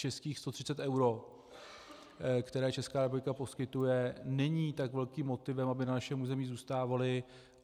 Českých 130 eur, která Česká republika poskytuje, není tak velkým motivem, aby na našem území zůstávali.